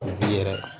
yɛrɛ